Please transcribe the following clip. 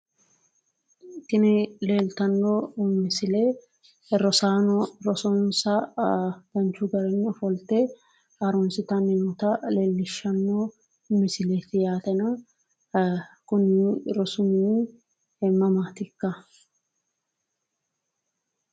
Tini leeltanno misile rosaano rosonsa danchu garinni ofolte harunsitanni noota leellishanno misileeti yaateno kuni rosu mini mamaatikka